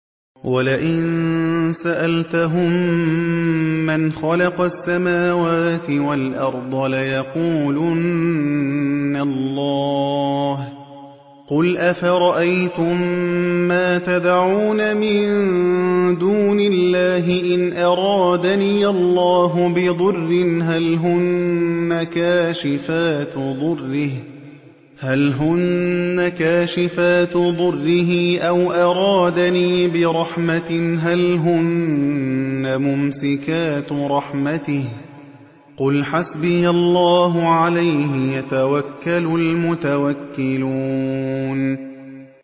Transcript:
وَلَئِن سَأَلْتَهُم مَّنْ خَلَقَ السَّمَاوَاتِ وَالْأَرْضَ لَيَقُولُنَّ اللَّهُ ۚ قُلْ أَفَرَأَيْتُم مَّا تَدْعُونَ مِن دُونِ اللَّهِ إِنْ أَرَادَنِيَ اللَّهُ بِضُرٍّ هَلْ هُنَّ كَاشِفَاتُ ضُرِّهِ أَوْ أَرَادَنِي بِرَحْمَةٍ هَلْ هُنَّ مُمْسِكَاتُ رَحْمَتِهِ ۚ قُلْ حَسْبِيَ اللَّهُ ۖ عَلَيْهِ يَتَوَكَّلُ الْمُتَوَكِّلُونَ